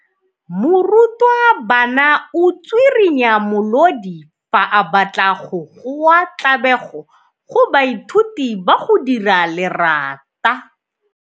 Morutwabana o tswirinya molodi fa a batla go goa tlabego go baithuti ba go dira lerata.